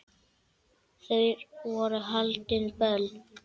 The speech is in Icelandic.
Þar voru haldin böll.